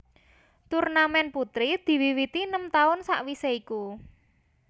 Turnamèn putri diwiwiti enem taun sawisé iku